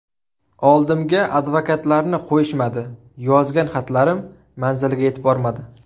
Oldimga advokatlarni qo‘yishmadi, yozgan xatlarim manziliga yetib bormadi.